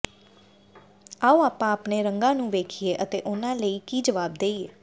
ਆਓ ਆਪਾਂ ਆਪਣੇ ਰੰਗਾਂ ਨੂੰ ਵੇਖੀਏ ਅਤੇ ਉਹਨਾਂ ਲਈ ਕੀ ਜਵਾਬ ਦੇਈਏ